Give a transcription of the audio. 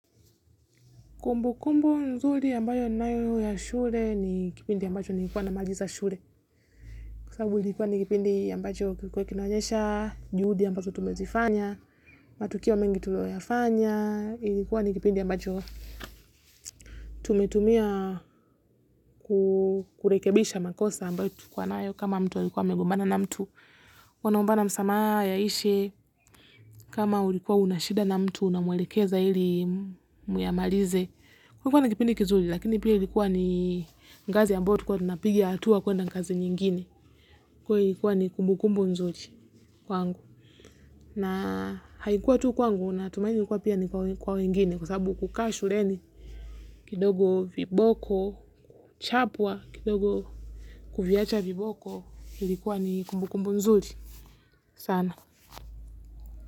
Kumbukumbu nzuri ambayo ninayo ya shule ni kipindi ambacho niikuwa namaliza shule. Kwa sasabu ilikuwa ni kipindi ambacho kilikuwa kinoanyesha, juhudi ambazoo tumezifanya, matukio wa mengi tuliyoyafanya. Ilikuwa ni kipindi ambacho tumetumia kurekebisha makosa ambayo tulikuwa nayo kama mtu alikuwa amegombana na mtu. Wanaombana msamaha, yaishe, kama ulikuwa unashida na mtu na unamwelekeza ili muyamalize. Kwa kuwa na kipindi kizuri, lakini pia ilikuwa ni ngazi ambayo tulikuwa tunapiga hatua kuenda ngazi nyingine. Kuwa ilikuwa ni kumbukumbu nzuri kwangu. Na haikuwa tu kwangu natumaini ilikuwa pia ni kwa wengine kwa sababu kukaa shuleni, kidogo viboko, kuchapwa, kidogo kuviacha viboko, ilikuwa ni kumbukumbu nzuri. Sana.